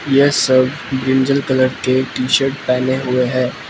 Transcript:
ये सब brinjal colour के टी_शर्ट पहने हुए हैं।